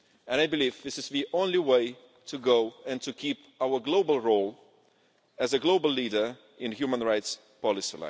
I believe this is the only way to go while keeping our global role as a global leader in human rights policy.